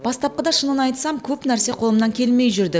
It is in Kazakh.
бастапқыда шынын айтсам көп нәрсе қолымнан келмей жүрді